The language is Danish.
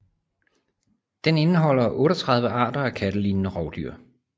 Den indeholder 38 arter af kattelignende rovdyr